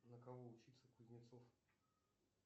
на кого учится кузнецов